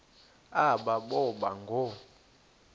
aba boba ngoo